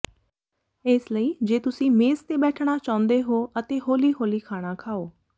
ਇਸ ਲਈ ਜੇ ਤੁਸੀਂ ਮੇਜ਼ ਤੇ ਬੈਠਣਾ ਚਾਹੁੰਦੇ ਹੋ ਅਤੇ ਹੌਲੀ ਹੌਲੀ ਖਾਣਾ ਖਾਓ